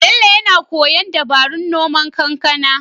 Bello yana koyon dabarun noman kankana.